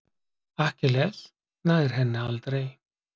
Akkilles nær henni aldrei.